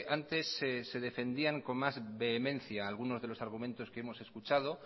antes se defendían con más vehemencia algunos de los argumentos que hemos escuchado